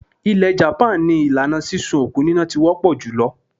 Ilẹ̀ japan ni ìlànà sísun òkú níná ti wọ́ pọ̀ jùlọ.